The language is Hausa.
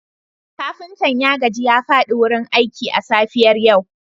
kafinta ya gaji ya fadi wurin aiki a safiyar yau